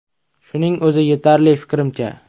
Shuning o‘zi yetarli, fikrimcha.